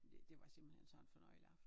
Det det var simpelthen sådan en fornøjelig aften